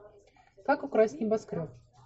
как украсть небоскреб